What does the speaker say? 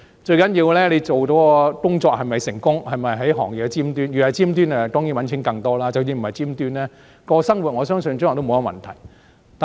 最重要的是你做的工作是否成功，是否站在行業的尖端，若在尖端當然可以賺更多錢，即使不在尖端，生活亦不成問題。